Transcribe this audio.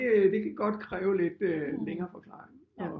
Det kan godt kræve lidt længere forklaring